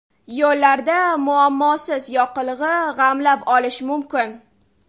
Yo‘llarda muammosiz yoqilg‘i g‘amlab olish mumkin.